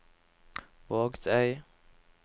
Vågsøy